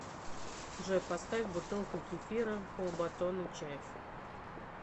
джой поставь бутылка кефира полбатона чайф